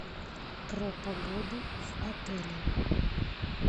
про погоду в отеле